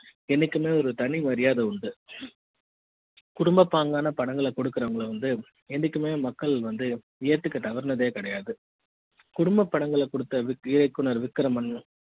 என்னைக்குமே ஒரு தனி மரியாதை உண்டு குடும்ப பாங்கான படங்களை கொடுக்கிறவங்களை வந்து என்னைக்குமே மக்கள் வந்து ஏத்துக்கிற தவறானது கிடையாது குடும்பப் படங்களை கொடுத்த இயக்குனர் விக்ரமன்